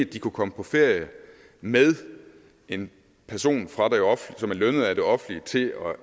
de kan komme på ferie med en person som er lønnet af det offentlige til